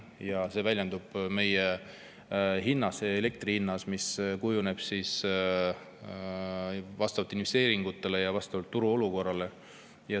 See kõik väljendub elektri hinnas, mis kujuneb vastavalt investeeringutele ja turuolukorrale.